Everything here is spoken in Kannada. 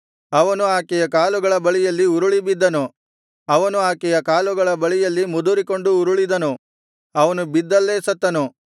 ಅವನು ಆಕೆಯ ಕಾಲುಗಳ ಬಳಿಯಲ್ಲಿ ಉರುಳಿ ಬಿದ್ದನು ಅವನು ಆಕೆಯ ಕಾಲುಗಳ ಬಳಿಯಲ್ಲಿ ಮುದುರಿಕೊಂಡು ಉರುಳಿದನು ಅವನು ಬಿದ್ದಲ್ಲೇ ಸತ್ತನು